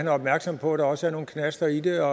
er opmærksom på at der også er nogle knaster i det